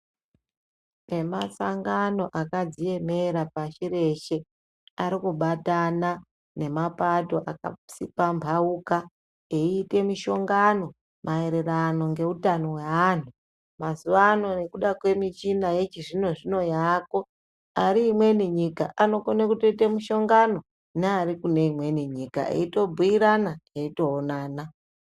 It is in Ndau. Emasango akadziyemera pashi rese arikubatana nemapato akatsipambauka eitamishongano maereranongeutano hweanhu mazuvano nekuda kwemichina yechizvinozvino yaako ariemweni nyika anokone kutoita mishongano nearikuneimweni nyika etobhuirana eitoonana.